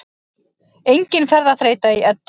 Engin ferðaþreyta í Eddu